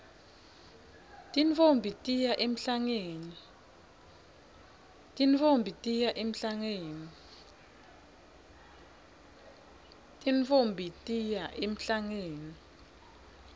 tintfombi tiya emhlangeni